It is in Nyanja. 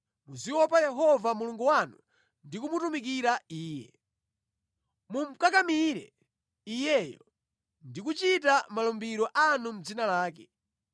Muziopa Yehova Mulungu wanu ndi kumutumikira Iye. Mumukakamire Iyeyo ndi kuchita malumbiro anu mʼdzina lake.